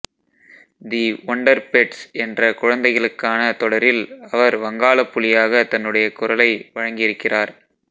தி Wonder Pets என்ற குழந்தைகளுக்கான தொடரில் அவர் வங்காளப் புலியாக தன்னுடைய குரலை வழங்கியிருக்கிறார்